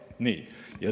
Nii.